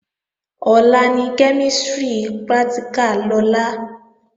Ọ̀la ni kẹ́mísìrì pratìkà Lọlá